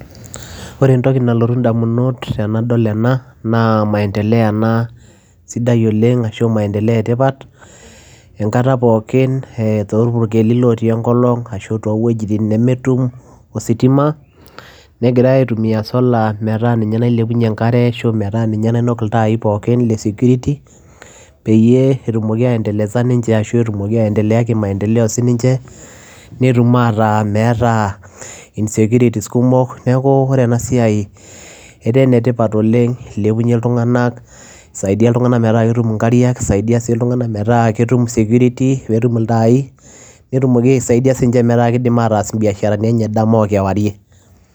Ore entoki nalotu ndamunot tenadool ena naa maendeleo ena sidai oleng' ashu maendeleo etipat enkata pookin torpurkeli lotii enkolong' ashu toowuejitin nemetum ositima negirai aitumia solar metaa ninye nailepunyie enkare ashu aa metaa ninye nainok iltaai pookin le security peyie etumoki aiendeleza ninche ashu etumoki aiendelea kimaendeleo sininche netum aataa meeta insecurities kumok neeku ore ena siai etaa enetipat oleng' ilepunyie iltung'anak isaidia iltung'anak metaa ketum nkariak isaidia sii iltung'anak metaa ketum security netum iltaai netumoki aisaidia sininche metaa kiidim ataas imbiasharani enye dama okewarie.